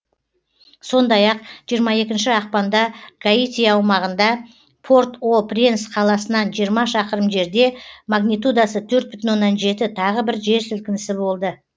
сондай ақ жиырма екінші ақпанда гаити аумағында порт о пренс қаласынан жиырма шақырым жерде магнитудасы төрт бүтін оннан жеті тағы бір жер сілкінісі болды